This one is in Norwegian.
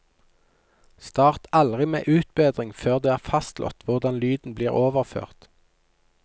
Start aldri med utbedring før det er fastslått hvordan lyden blir overført.